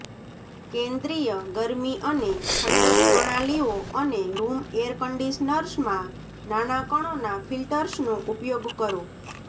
કેન્દ્રીય ગરમી અને ઠંડક પ્રણાલીઓ અને રૂમ એર કન્ડીશનર્સમાં નાના કણોના ફિલ્ટર્સનો ઉપયોગ કરો